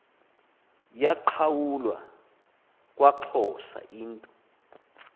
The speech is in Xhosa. yaqhawulwa kwaxhosa yinto